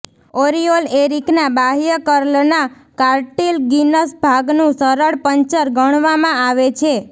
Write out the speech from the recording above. ઓરિઓલ એરિકના બાહ્ય કર્લના કાર્ટિલગિનસ ભાગનું સરળ પંચર ગણવામાં આવે છે